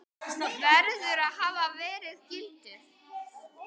verður að hafa verið gildur.